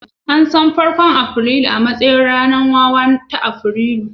An san farkon Afrilu a matsayin ranar wawa ta Afrilu